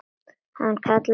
Hann kallaði til mín.